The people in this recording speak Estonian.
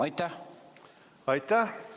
Aitäh!